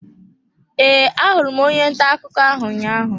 E, ahụrụ onye ntà akụkọ ahụ ụnyaahụ.